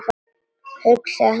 Hugsaði sig ekki um!